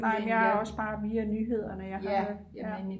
nej jeg har også bare via nyhederne ja